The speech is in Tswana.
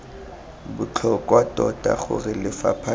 botlhokwa tota gore lefapha leno